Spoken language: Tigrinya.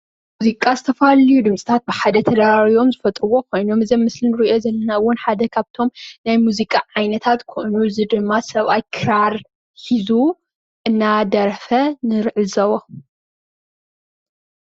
መዚቃ ዝተፈላለዩ ድምፂታት ብሓደ ተረባሪቡ ዝፈጥርዎ ኮይኖም እዚ ኣብ ምስሊ ንሪኦ ዘለና እውን ሓደ ካብቶም ናይ መዚቃ ዓይነታት ድማ ሰበኣይ ክራር ሒዙ እዳደረፈ ንዕዘቦ።